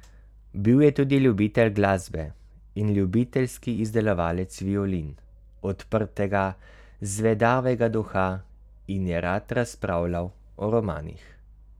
Bil je tudi ljubitelj glasbe in ljubiteljski izdelovalec violin, odprtega, zvedavega duha, in je rad razpravljal o romanih.